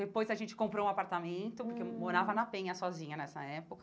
Depois a gente comprou um apartamento, hum porque eu morava na Penha sozinha nessa época,